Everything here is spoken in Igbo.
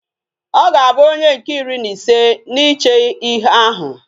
Oga Abu onye nke iri na ise na iche ihe ahu